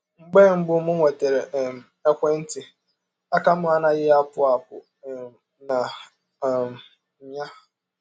“ Mgbe mbụ m nwetara um ekwe ntị, aka m anaghị apụ apụ um na um ya.